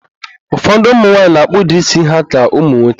Ụfọdụ ụmụnwaanyị na-akpụda ísí ha ka ụmụnwoke